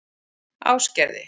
Ásgerði